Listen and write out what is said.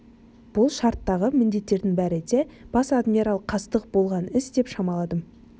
бұл шарттағы міндеттердің бәрі де бас адмирал қастық болған іс деп шамаладым